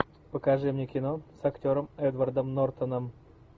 покажи мне кино с актером эдвардом нортаном